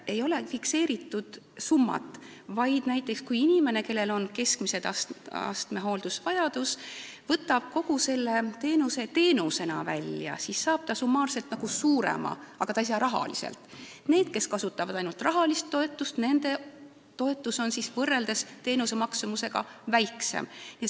Ei ole fikseeritud summat, vaid kui näiteks inimene, kellel on keskmise astmega hooldusvajadus, võtab kõik talle ettenähtu teenustena välja, siis ta saab summaarselt nagu rohkem, aga ta ei saa rahalist toetust, ning nendel, kes kasutavad ainult rahalist toetust, on toetus teenuste maksumusega võrreldes väiksem.